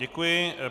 Děkuji.